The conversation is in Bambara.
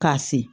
K'a se